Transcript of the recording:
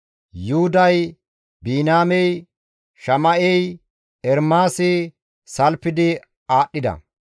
Yuhuday, Biniyaamey, Shama7ey, Ermaasi salfidi aadhdhida;